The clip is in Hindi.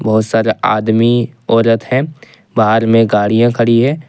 बहुत सारे आदमी औरत है बाहर में गाड़ियां खड़ी है।